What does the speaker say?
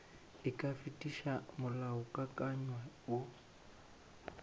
e ka fetiša molaokakanywa woo